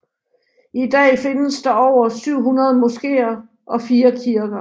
I dag findes der over 700 moskéer og 4 kirker